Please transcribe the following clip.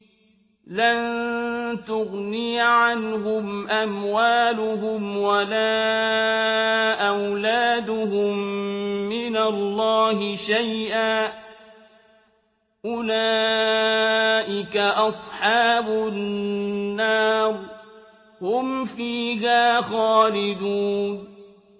لَّن تُغْنِيَ عَنْهُمْ أَمْوَالُهُمْ وَلَا أَوْلَادُهُم مِّنَ اللَّهِ شَيْئًا ۚ أُولَٰئِكَ أَصْحَابُ النَّارِ ۖ هُمْ فِيهَا خَالِدُونَ